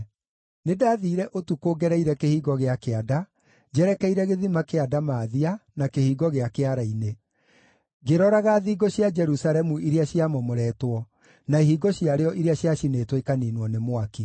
Nĩndathiire ũtukũ ngereire Kĩhingo gĩa Kĩanda, njerekeire Gĩthima kĩa Ndamathia na Kĩhingo gĩa Kĩara-inĩ, ngĩroraga thingo cia Jerusalemu iria ciamomoretwo, na ihingo ciarĩo iria ciacinĩtwo ikaniinwo nĩ mwaki.